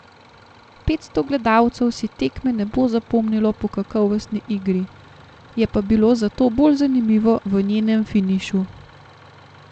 Petsto gledalcev si tekme ne bo zapomnilo po kakovostni igri, je pa bilo zato bolj zanimivo v njenem finišu.